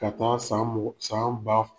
Ka taa san san